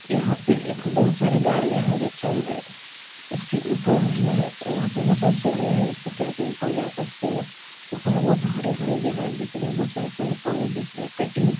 यहाँ पे एक बहुत सारे गाड़िया जो चल रहे इसके ऊपर में वहाँ पे बहुत सारी सीढ़ियाँ है जिसपे चढ़ के ऊपर जा सकते हो ऊपर में बहुत हरे-हरे जगह दिख रहे बहुत सारे पेड़-पौधे दिख रहे कटिंग --